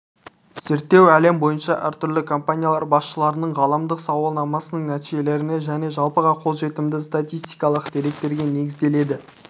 зерттеу әлем бойынша әртүрлі компаниялар басшыларының ғаламдық сауалнамасының нәтижелеріне және жалпыға қолжетімді статистикалық деректерге негізделеді